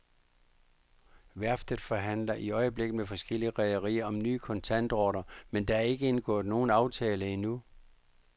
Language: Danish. Værftet forhandler i øjeblikket med forskellige rederier om nye kontantordrer, men der er ikke indgået nogen aftale endnu.